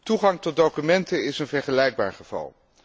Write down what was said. Toegang tot documenten is een vergelijkbaar geval.